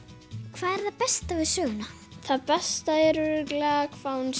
hvað er það besta við söguna það besta er örugglega hvað hún